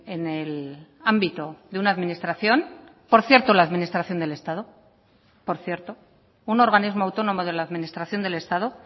en el ámbito de una administración por cierto la administración del estado por cierto un organismo autónomo de la administración del estado